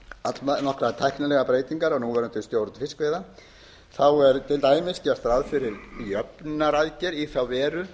allnokkrar tæknilegar breytingar á núverandi stjórn fiskveiða þá er til dæmis gert ráð fyrir jöfnunaraðgerð í þá veru